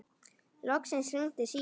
Loksins hringdi síminn.